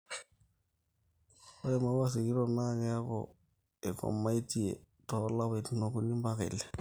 ore maua sikiton naa keeku eikomaitie too lapaitin okuni mpaka ile